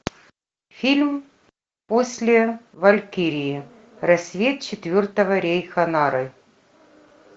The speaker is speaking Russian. фильм после валькирии рассвет четвертого рейха нарой